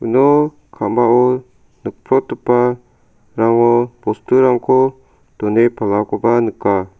uno ka·mao nikprotgipa bosturangko done palakoba nika.